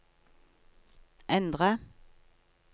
endre